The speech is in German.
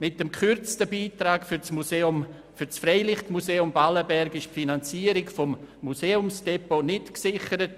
Mit dem gekürzten Beitrag fürs Freilichtmuseum Ballenberg ist die Finanzierung des Museumsdepots nicht gesichert.